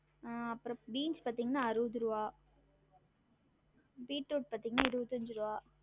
ஆஹ் அப்றம் பீன்ஸ் பாத்தீங்கன்னா அறுவது ருவா பீட்ரூட் பாத்தீங்கன்னா இருவத்தஞ்சு ருவா